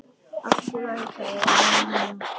Allt í lagi, sagði Emil.